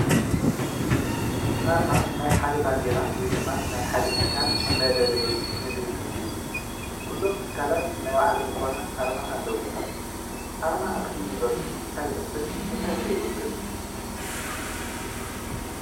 ኣርማ ናይ ሓደ ባንዴራ ወይ ናይ ሓደ ትካል መለለይ ምልክት እዩ። ኩሎም ትካላት ናይ ባዕሎም ዝኾነ ኣርማ ኣለዎም፡፡ ኣርማ ኣክሱም ዩኒቨርስቲ እንታይ ይመስል እንታይ ከ ይውክል።